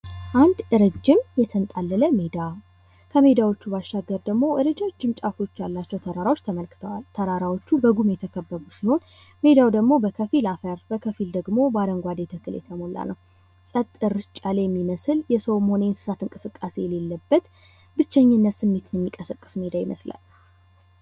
አንድ ረዥም የተንጣለለ ሜዳ ከሜዳዎቹ ባሻገር ደግሞ ረጃጅም ጫፎች ያላቸው ተራራዎች ተመልክተዋል። ተራራዎቹ በጉም የተከበቡ ሲሆን፤ ሜዳው ደግሞ በከፊል አፈር በከፊል ደግሞ በአረንጓዴ ትክክል የተሞላ ነው። ፀጥ እርጭ ያለ የሚመስል የሰውም ሆነ የእንስሳት እንቅስቃሴ የሌለበት ብቸኝነት ስሜትን የሚቀሰቅስ ሜዳ ይመስላል።